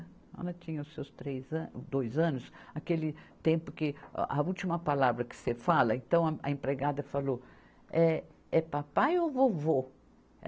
Ela tinha os seus três a, dois anos, aquele tempo que a a última palavra que você fala, então a empregada falou, é, é papai ou vovô?